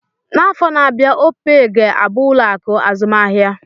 N'afọ na-abịa, opee ga-abụ ụlọ akụ azụmahịa